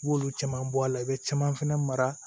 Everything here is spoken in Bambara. I b'olu caman bɔ a la i bɛ caman fɛnɛ mara